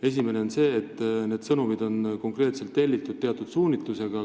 Esimene on see, et need sõnumid on tellitud teatud suunitlusega.